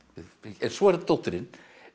en svo er það dóttirin